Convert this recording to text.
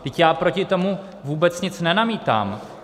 Vždyť já proti tomu vůbec nic nenamítám.